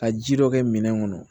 Ka ji dɔ kɛ minɛn kɔnɔ